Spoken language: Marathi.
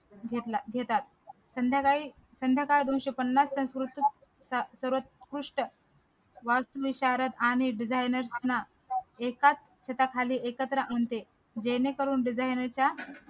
घेतला घेतात संध्याकाळी संध्याकाळ दोनशे पन्नास संस्कृत सर्वात कृष्ट वास्तु विशारद आणि designer ला एका छताखाली एकत्र आणते जेणेकरून designer च्या